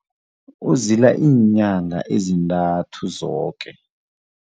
Uzila iinyanga ezintathu zoke.